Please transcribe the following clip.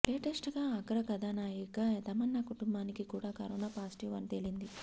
లేటెస్ట్గా అగ్రకథానాయిక తమన్నా కుటుంబానికి కూడా కరోనా పాజిటివ్ అని తేలింది